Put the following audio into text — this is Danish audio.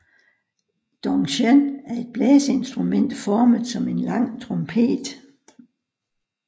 Dung chen er et blæseinstrument formet som en lang trompet